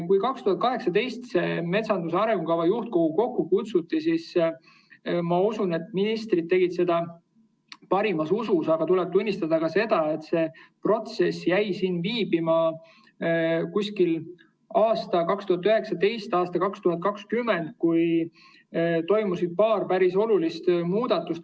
Kui 2018 metsanduse arengukava juhtkogu kokku kutsuti, siis, ma usun, tegid ministrid seda parimas usus, aga tuleb tunnistada ka seda, et see protsess jäi viibima kuskil aastast 2019 aastani 2020, kui toimus paar päris olulist muudatust.